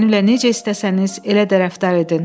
Mənimlə necə istəsəniz, elə də rəftar edin,